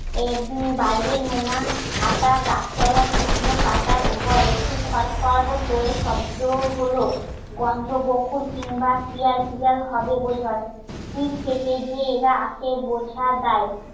একদিন বাইরে নোনা আটা, গাছ তলা, শুকনো পাতার ওপর একটু খর খর করে শব্দ হল গন্ধ গোকুল কিংবা শিয়াল তিয়াল হবে বোধহয়. কি খেতে গিয়ে এরা আসে বোঝা দায়